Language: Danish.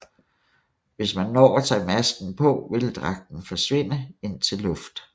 Hvis man når at tage masken på ville dragten forsvinde indtil luft